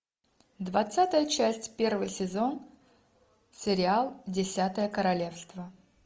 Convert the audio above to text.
двадцатая часть первый сезон сериал десятое королевство